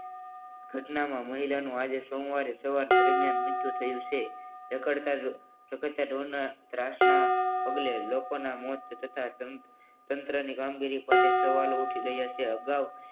ઘટનામાં મહિલાનું આજે સોમવારે સારવાર દરમિયાન મૃત્યુ થયું છે રખડતા રખડતા ઢોરના ત્રાસના પગલે લોકોના મોત થતા તંત્રની કામગીરી સવાલો ઉઠી રહ્યા છે અગાઉ